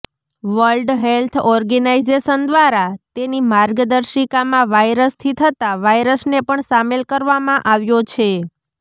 world Health Organization દ્વારા તેની માર્ગદર્શિકામાં વાયરસથી થતા વાયરસને પણ શામેલ કરવામાં આવ્યો છે